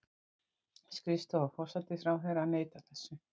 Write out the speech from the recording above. Skrifstofa forsætisráðherra neitar þessu